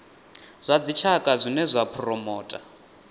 zwa dzitshaka zwine zwa phuromotha